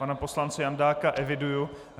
Pana poslance Jandáka eviduji.